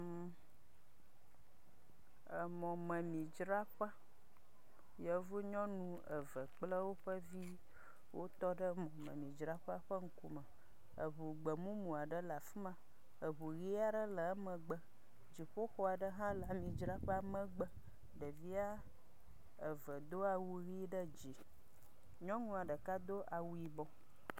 Mmmm…emɔmemidzraƒe, yevu nyɔnu eve kple woƒe viwo wotɔ ɖe mɔmemidzraƒea ƒe ŋkume. Eŋu gbemumu aɖe le afi ma, eŋu ʋi aɖe le emegbe dziƒoxɔ aɖe le mɔmemidzraƒea megbe. Ɖevia eve do awu yi ɖe dzi, nyɔnua ɖeka do awu yibɔ.